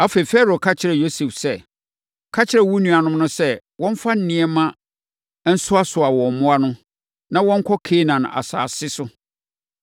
Afei, Farao ka kyerɛɛ Yosef sɛ, “Ka kyerɛ wo nuanom no se, wɔmfa nneɛma nsoasoa wɔn mmoa no, na wɔnkɔ Kanaan asase so,